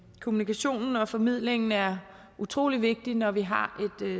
kommunikationen og formidlingen er utrolig vigtig når vi har